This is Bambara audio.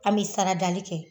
An be sara dali kɛ